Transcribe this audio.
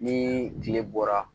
Ni kile bɔra